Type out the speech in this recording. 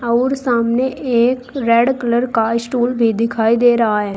और सामने एक रेड कलर का स्टूल भी दिखाई दे रहा है।